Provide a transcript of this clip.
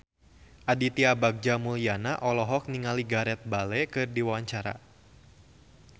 Aditya Bagja Mulyana olohok ningali Gareth Bale keur diwawancara